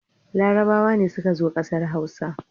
Larabawa ne suka zo ƙasar Hausa.